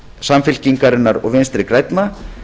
samfylkingarinnar og vinstri grænna